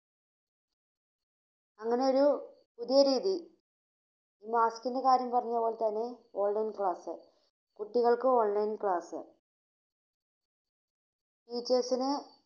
അങ്ങനെ ഒരു പുതിയ രീതി, മാസ്കിന്റെ കാര്യം പറഞ്ഞപോലെതന്നെ ഓൺലൈൻ ക്ലാസ്, കുട്ടികൾക്ക് ഓൺലൈൻ ക്ലാസ് ടീച്ചേഴ്‌സിന്